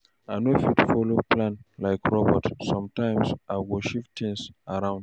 I no fit follow plan like robot, sometimes I go shift things around.